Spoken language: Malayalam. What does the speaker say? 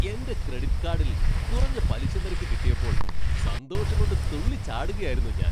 എൻ്റെ ക്രെഡിറ്റ് കാഡിൽ കുറഞ്ഞ പലിശ നിരക്ക് കിട്ടിയപ്പോൾ സന്തോഷംകൊണ്ട് തുള്ളിച്ചാടുകയായിരുന്നു ഞാൻ.